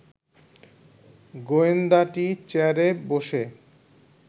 গোয়েন্দাটি চেয়ারে বসে